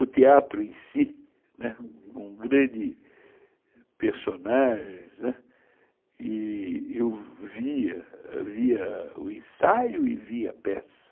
O teatro em si, né, com grandes personagens, eu via via o ensaio e via a peça.